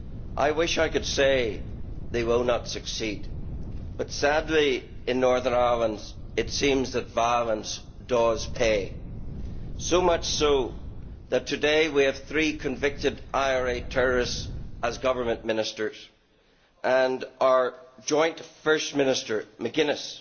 I wish I could say that they will not succeed but, sadly, in Northern Ireland it seems that violence does pay so much so that today we have three convicted IRA terrorists as government ministers, and our joint first minister McGuinness